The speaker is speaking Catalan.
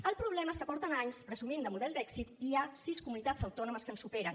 el problema és que fa anys que presumeixen de model d’èxit i hi ha sis comunitats autònomes que ens superen